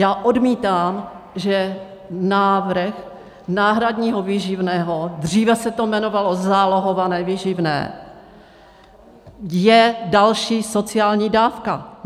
Já odmítám, že návrh náhradního výživného, dříve se to jmenovalo zálohované výživné, je další sociální dávka.